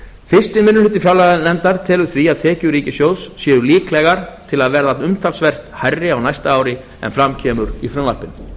fyrsti minni hluti fjárlaganefndar telur því að tekjur ríkissjóðs séu líklegar til að verða umtalsvert hærri á næsta ári en fram kemur í frumvarpinu